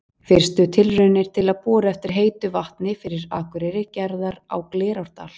Fyrstu tilraunir til að bora eftir heitu vatni fyrir Akureyri gerðar á Glerárdal.